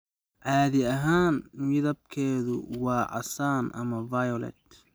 Caadi ahaan midabkeedu waa casaan ama violet.